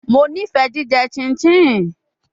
Mo nifẹ jijẹ chinchin